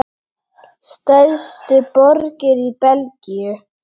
Stærstu borgir í Belgíu